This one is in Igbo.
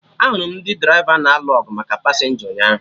Ahụrụ m ndị draịva na-alụ ọgụ maka pasenja ụnyaahụ